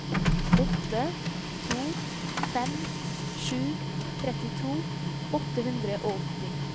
åtte to fem sju trettito åtte hundre og åtti